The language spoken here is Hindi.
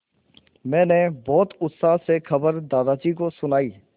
मैंने बहुत उत्साह से खबर दादाजी को सुनाई